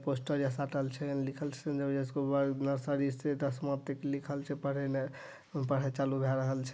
Poster यार साटल छै लिखल छै नर्सरी से दसवां तक लिखल छै पढ़े ले पढाय चालू भे रहल छै ।